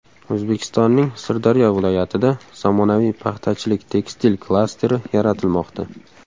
O‘zbekistonning Sirdaryo viloyatida zamonaviy paxtachilik-tekstil klasteri yaratilmoqda.